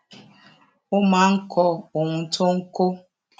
ó máa ń kọ ohun tó ń kó